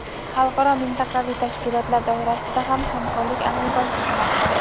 Xalqaro va mintaqaviy tashkilotlar doirasida ham hamkorlik amalga oshirilmoqda.